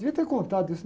Devia ter contado isso.